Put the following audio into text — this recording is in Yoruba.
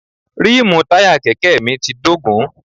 Ríìmù táyà Kẹ̀kẹ́ mi ti dógùn.